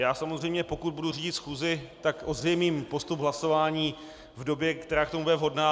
Já samozřejmě, pokud budu řídit schůzi, tak ozřejmím postup hlasování v době, která k tomu bude vhodná.